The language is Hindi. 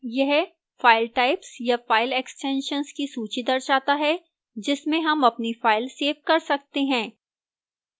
यह file types या file extensions की सूची दर्शाता है जिसमें हम अपनी file सेव कर सकते हैं